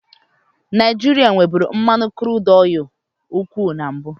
Naijiria nweburu mmanụ kurudu nke ukwuu na mbụ.